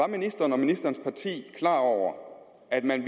ministeren og ministerens parti klar over at man